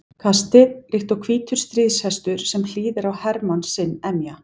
kastið, líkt og hvítur stríðshestur sem hlýðir á hermann sinn emja.